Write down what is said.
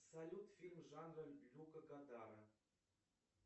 салют фильм жана люка годара